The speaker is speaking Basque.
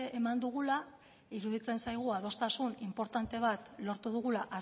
eman dugula iruditzen zaigu adostasun inportante bat lortu dugula